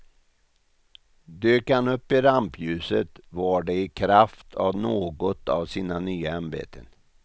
Dök han upp i rampljuset var det i kraft av något av sina nya ämbeten.